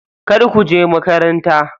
Kar kuje makaranta.